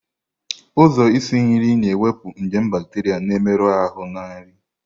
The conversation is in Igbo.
Ụzọ isi nri na-ewepụ nje bacteria na-emerụ ahụ na nri.